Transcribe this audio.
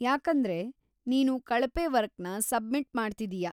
ಯಾಕಂದ್ರೆ ನೀನು ಕಳಪೆ ವರ್ಕ್‌ನ ಸಬ್ಮಿಟ್‌ ಮಾಡ್ತಿದೀಯಾ.